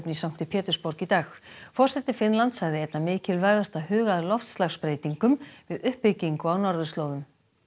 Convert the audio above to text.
í sankti Pétursborg í dag forseti Finnlands sagði einna mikilvægast að huga að loftslagsbreytingum við uppbyggingu á norðurslóðum